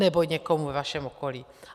Nebo někomu ve vašem okolí.